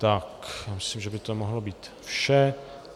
Tak myslím, že by to mohlo být vše.